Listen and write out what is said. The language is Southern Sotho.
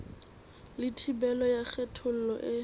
le thibelo ya kgethollo e